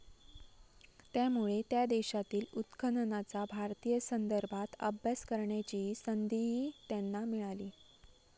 त्यामुळे त्या देशातील उत्खननाचा भारतीय संदर्भात अभ्यास करण्याची संधीही त्यांना मिळाली.